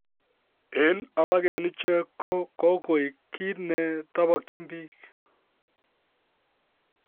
En alak en ichek ko kogoik kit ne tobokyin biik